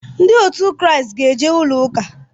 Ndị ‘christianity' ga-eje ụlọ ụka